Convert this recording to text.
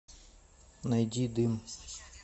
найди дым